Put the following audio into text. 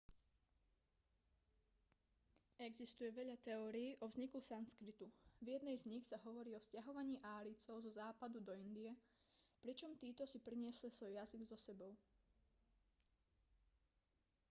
existuje veľa teórií o vzniku sanskritu v jednej z nich sa hovorí o sťahovaní árijcov zo západu do indie pričom títo si priniesli svoj jazyk so sebou